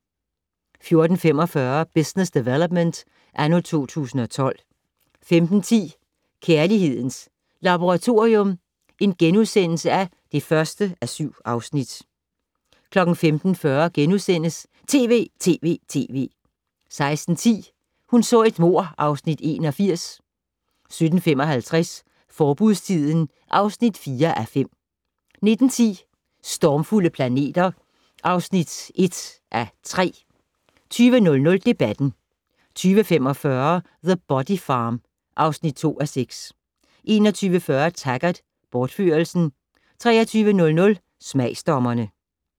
14:45: Business Development anno 2012 15:10: Kærlighedens Laboratorium (1:7)* 15:40: TV!TV!TV! * 16:10: Hun så et mord (Afs. 81) 17:55: Forbudstiden (4:5) 19:10: Stormfulde planeter (1:3) 20:00: Debatten 20:45: The Body Farm (2:6) 21:40: Taggart: Bortførelsen 23:00: Smagsdommerne